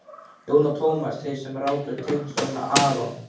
Jón og Tómas, þeir sem ráku teiknistofuna aRON